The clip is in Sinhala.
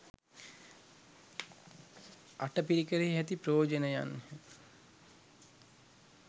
අටපිරිකරෙහි ඇති ප්‍රයෝජනයන්ය.